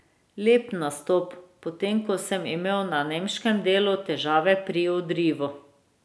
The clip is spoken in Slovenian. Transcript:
Lep nastop, potem ko sem imel na nemškem delu težave pri odrivu.